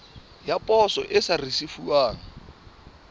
ya poso e sa risefuwang